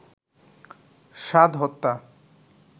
সাদ হত্যা